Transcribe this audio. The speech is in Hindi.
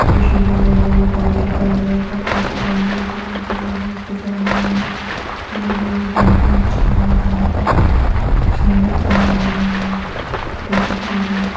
ये शिव लिंग देखने में बोहत ही प्यारी और बोहत ही अच्छी लगी है। यहाँ फूलों की माला इसपे चढाई गई है जो देखने मे बोहत ही अच्छी है और बोहत ही खूबसूरत है और हमें शिव जी की पूजा रोज --